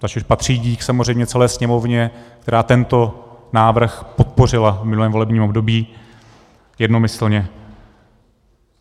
Tady patří dík samozřejmě celé Sněmovně, která tento návrh podpořila v minulém volebním období jednomyslně.